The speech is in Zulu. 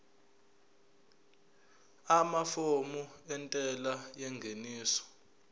amafomu entela yengeniso